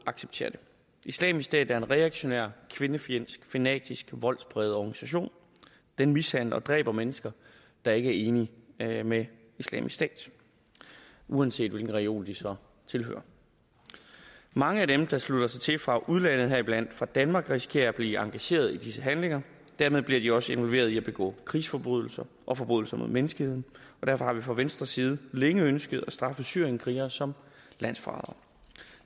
acceptere det islamisk stat er en reaktionær kvindefjendsk fanatisk og voldspræget organisation den mishandler og dræber mennesker der ikke er enige med med islamisk stat uanset hvilken religion de så tilhører mange af dem der slutter sig til fra udlandet heriblandt fra danmark risikerer at blive engageret i disse handlinger og dermed bliver de også involveret i at begå krigsforbrydelser og forbrydelser mod menneskeheden og derfor har vi fra venstres side længe ønsket at straffe syrienskrigere som landsforrædere